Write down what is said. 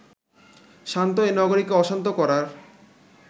শান্ত এ নগরীকে অশান্ত করার